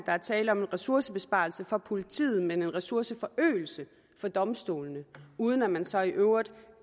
der er tale om ressourcebesparelse for politiet men en ressourceforøgelse for domstolene uden at man så i øvrigt